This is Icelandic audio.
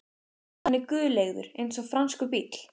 Hann er guleygður eins og franskur bíll